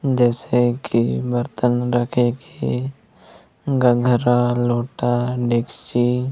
जैसे की बर्तन रखे के गघरा लोटा डेकशची--